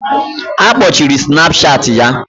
Akpochiri Snapchat ya